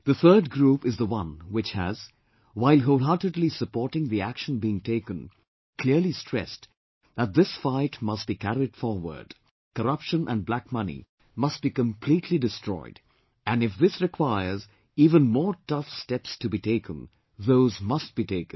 The third group is the one which has, while wholeheartedly supporting the action being taken, clearly stressed that this fight must be carried forward; corruption and black money must be completely destroyed and if this requires even more tough steps to be taken, those must be taken